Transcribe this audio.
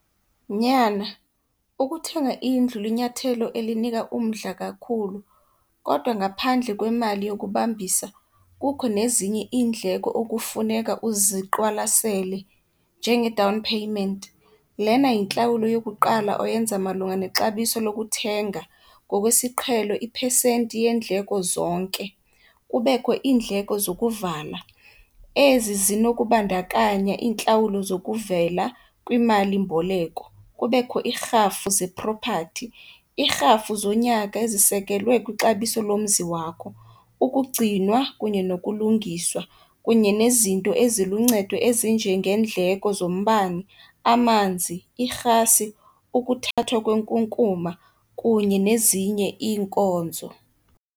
Nyana, ukuthenga indlu linyathelo elinika umdla kakhulu kodwa ngaphandle kwemali yokubambisa kukho nezinye iindleko okufuneka uziqwalasele, njenge-down payment. Lena yintlawulo yokuqala oyenza malunga nexabiso lokuthenga, ngokwesiqhelo iphesenti yeendleko zonke. Kubekho iindleko zokuvala, ezi zinokubandakanya iintlawulo zokuvela kwimalimboleko. Kubekho iirhafu zeprophathi, iirhafu zonyaka ezisekelwe kwixabiso lomzi wakho, ukugcinwa kunye nokulungiswa kunye nezinto eziluncedo ezinjengeendleko zombane, amanzi, irhasi, ukuthathwa kwenkunkuma kunye nezinye iinkonzo.